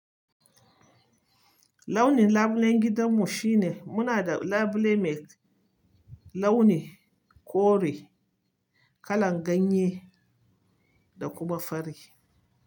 Launin labulen gidanmu shine muna da labule mai launin kore, kalar ganye da kuma fari.